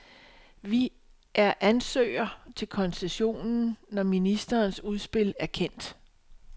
Vi er ansøger til koncessionen, når ministerens udspil er kendt.